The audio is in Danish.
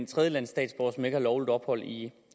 tredjelandsstatsborger som ikke har lovligt ophold i